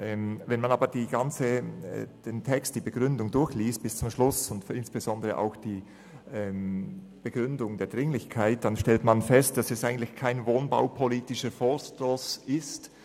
Wenn man aber den gesamten Text mit seiner Begründung, insbesondere auch mit seiner Begründung der Dringlichkeit, bis zum Schluss durchliest, stellt man fest, dass es kein wohnpolitischer Vorstoss ist.